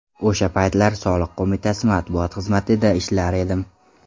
O‘sha paytlar Soliq qo‘mitasi matbuot xizmatida ishlar edim.